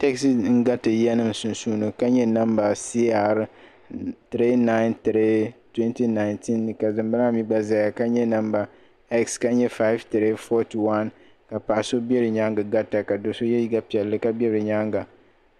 Taɣizi n-gariti yiyanima sunsuuni ka nye namba CR3932019 ka dimbala maa mi zaya ka nye namba S ka nye 5341 ka paɣ'so be di nyaaŋa garita ka do'so ye liiga piɛlli ka be bɛ nyaaŋa